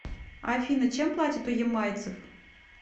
афина чем платят у ямайцев